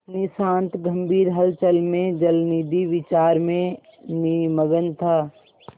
अपनी शांत गंभीर हलचल में जलनिधि विचार में निमग्न था